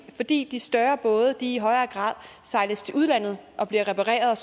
er fordi de større både i højere grad sejles til udlandet og bliver repareret og